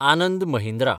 Anand Mahindra